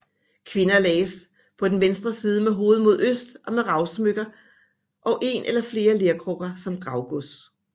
Kvinder lagdes på venstre side med hovedet mod øst og med ravsmykker og en eller flere lerkrukker som gravgods